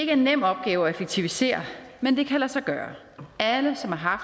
er en nem opgave at effektivisere men det kan lade sig gøre alle som har